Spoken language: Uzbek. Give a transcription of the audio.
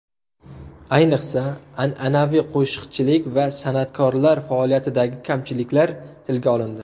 Ayniqsa, an’anaviy qo‘shiqchilik va san’atkorlar faoliyatidagi kamchiliklar tilga olindi.